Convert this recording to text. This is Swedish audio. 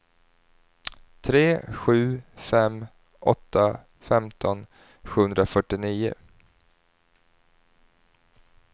tre sju fem åtta femton sjuhundrafyrtionio